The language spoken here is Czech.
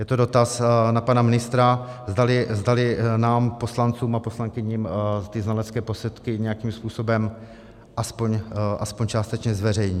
Je to dotaz na pana ministra, zdali nám, poslancům a poslankyním, ty znalecké posudky nějakým způsobem aspoň částečně zveřejní.